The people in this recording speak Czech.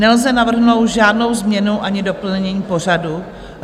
Nelze navrhnout žádnou změnu ani doplnění pořadu.